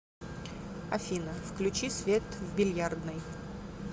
афина включи свет в бильярдной